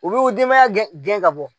U bɛ dinbaya gɛn ka bɔ